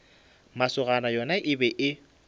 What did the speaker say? masogana yona e be e